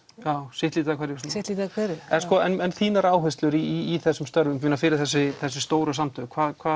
sitt lítið af hverju svona sitt lítið af hverju en þínar áherslur í þessum störfum fyrir þessi þessi stóru samtök